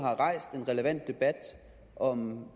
og